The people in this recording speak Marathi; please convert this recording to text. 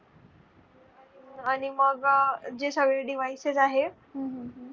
आणि मग जे सगळे devices आहे. हम्म.